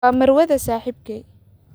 Waa marwada saaxiibkay